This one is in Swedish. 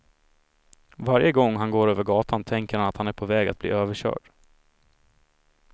Varje gång han går över gatan tänker han att han är på väg att bli överkörd.